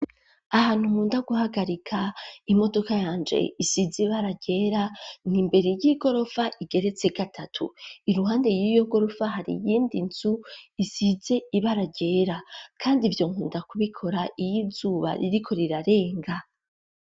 Ahantu nkunda guhagarika imodoka yanje isize ibara ryera ni imbere y'igorofa igeretse gatatu iruhande y'igorofa hari yindi nzu isize ibara ryera kandi ivyo nkunda kubikora iy'izuba ririko rirarenga.